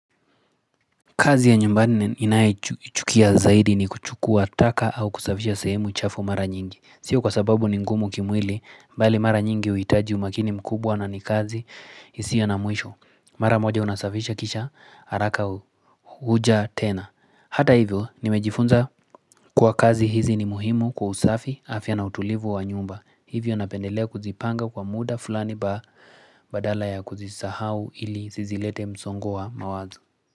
Kazi ya nyumbani ninayoichukia zaidi ni kuchukua taka au kusafisha sehemu chafu mara nyingi. Sio kwa sababu ni ngumu kimwili, bali mara nyingi uitaji umakini mkubwa na nikazi, isio na mwisho. Mara moja unasafisha kisha, haraka huja tena. Hata hivyo, nimejifunza kuwa kazi hizi ni muhimu kwa usafi, afya na utulivu wa nyumba. Hivyo napendelea kuzipanga kwa muda fulani badala ya kuzisahau ili sizilete msongo wa mawazo.